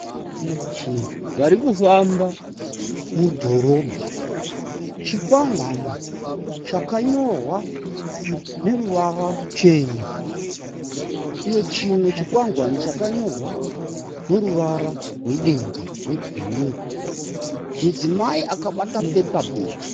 Vanhu vari kufamba mudhorobha. Chikwangwani chakanyorwa neruvara ruchena uye chimwe chikwangwani chakanyorwa neruvara rwedenga rwebhuruu. Mudzimai akabata pepabhegi.